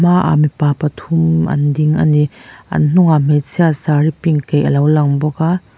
a hmaah mipa pathum an ding a ni an hnungah hmeichhia saree pink kaih alo lang bawk a.